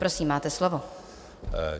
Prosím, máte slovo.